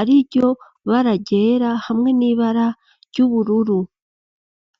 ariryo bara ryera hamwe n'ibara ry'ubururu.